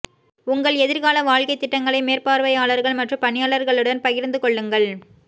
உங்கள் எதிர்கால வாழ்க்கைத் திட்டங்களை மேற்பார்வையாளர்கள் மற்றும் பணியாளர்களுடன் பகிர்ந்து கொள்ளுங்கள்